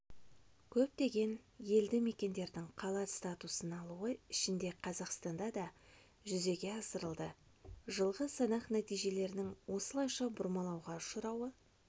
көптеген елді-мекендердің қала статусын алуы ішінде қазақстанда да жүзеге асырылды жылғы санақ нәтижелерінің осылайша бұрмалауға ұшырауы